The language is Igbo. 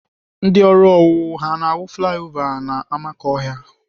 Ndị ọrụ owuwu ha na-arụ flaya ova n'amakọhịa?